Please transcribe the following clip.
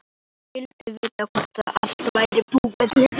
Hún vildi vita hvort allt væri búið niðri.